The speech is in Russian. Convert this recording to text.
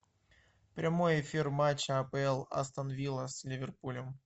прямой эфир матча апл астон вилла с ливерпулем